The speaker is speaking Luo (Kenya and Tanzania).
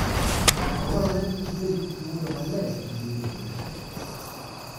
Dwarore ni gibed gi pi modho maler kinde duto.